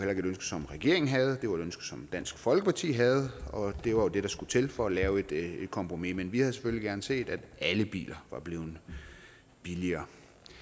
som regeringen havde det var et ønske som dansk folkeparti havde og det var det der skulle til for at lave et kompromis men vi havde selvfølgelig gerne set at alle biler var blevet billigere